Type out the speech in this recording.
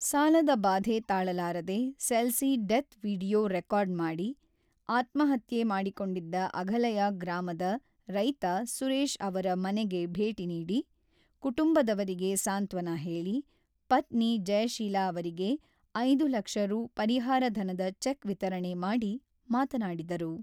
ಸಾಲದ ಬಾಧೆ ತಾಳಲಾರದೆ ಸೆಲ್ಸಿ ಡೆತ್ ವಿಡಿಯೋ ರೆಕಾರ್ಡ್ ಮಾಡಿ ಆತ್ಮಹತ್ಯೆ ಮಾಡಿಕೊಂಡಿದ್ದ ಅಘಲಯ ಗ್ರಾಮದ ರೈತ ಸುರೇಶ್ ಅವರ ಮನೆಗೆ ಭೇಟಿ ನೀಡಿ ಕುಟುಂಬದವರಿಗೆ ಸಾಂತ್ವನ ಹೇಳಿ ಪತ್ನಿ ಜಯಶೀಲ ಅವರಿಗೆ ಐದು ಲಕ್ಷ ರೂ ಪರಿಹಾರ ಧನದ ಚೆಕ್ ವಿತರಣೆ ಮಾಡಿ, ಮಾತನಾಡಿದರು.